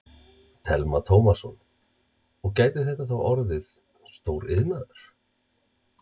Telma Tómasson: Og gæti þetta þá orðið stór iðnaður?